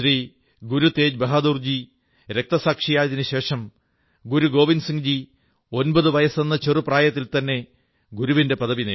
ഗുരുതേജ്ബഹാദുർജി രക്തസാക്ഷിയായതിനു ശേഷം ഗുരു ഗോവിന്ദ് സിംഹ് ജി 9 വയസ്സെന്ന ചെറു പ്രായത്തിൽത്തന്നെ ഗുരുവിന്റെ പദവി നേടി